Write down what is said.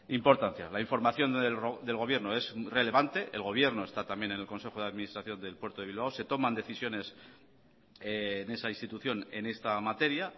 importancia la información del gobierno es relevante el gobierno está también en el consejo de administración del puerto de bilbao se toman decisiones en esa institución en esta materia